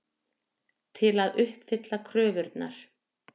Til að uppfylla kröfurnar.